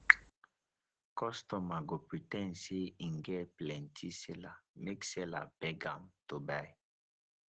kostomer go pre ten d sey en get plenty seller make seller beg am to buy